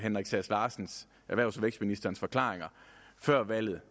erhvervs og vækstministerens forklaringer før valget